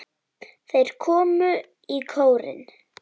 Þeir komu í kórinn.